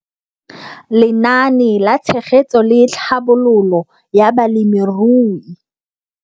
Lenaane la Tshegetso le Tlhabololo ya Balemirui